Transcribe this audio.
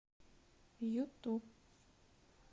юту